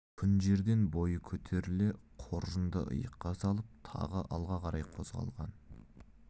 күн жерден бойы көтеріле қоржынды иыққа салып тағы алға қарай қозғалған